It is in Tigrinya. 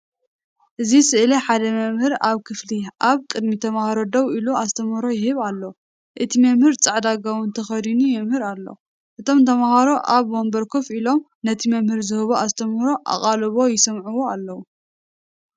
ኣብዚ ስእሊ ሓደ መምህር ኣብ ክፍሊ ኣብ ቅድሚ ተማሃሮ ደው ኢሉ ኣስተምህሮ ይህብ ኣሎ። እቲ መምህር ጻዕዳ ጓውን ተኸዲኑ የምህር ኣሎ። እቶም ተማሃሮ ኣብ መንበር ኮፍ ኢሎም ነቲ መምህር ዝህቦ ኣስተምህሮ ኣቓልቦ ይሰምዕዎ ኣለዉ።